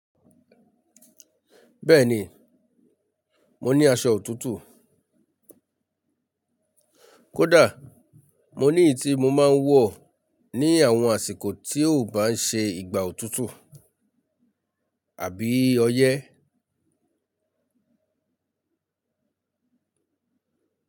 Bẹ́ẹ̀ni, mo ni aṣọ òtútù. Kódà, mo ní èyí tí mo máa ń wọ̀ ní àwọn àsìkò tí ò bá ń ṣe ìgbà òtútù àbí oyẹ́